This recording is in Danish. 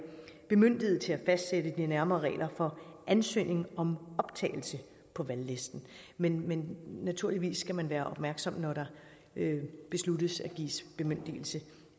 bemyndiget til at fastsætte de nærmere regler for ansøgning om optagelse på valglisten men men naturligvis skal man være opmærksom når det besluttes at give bemyndigelse